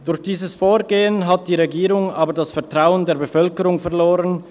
Durch dieses Vorgehen hat die Regierung jedoch das Vertrauen der Bevölkerung verloren.